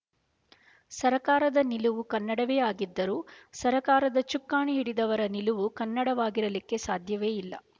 ಸರಕಾರದ ನಿಲುವು ಕನ್ನಡವೇ ಆಗಿದ್ದರೂ ಸರಕಾರದ ಚುಕ್ಕಾಣಿ ಹಿಡಿದವರ ನಿಲುವು ಕನ್ನಡವಾಗಿರಲಿಕ್ಕೆ ಸಾಧ್ಯವೇ ಇಲ್ಲ